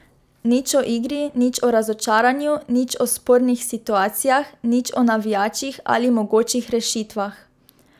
Nič o igri, nič o razočaranju, nič o spornih situacijah, nič o navijačih ali mogočih rešitvah.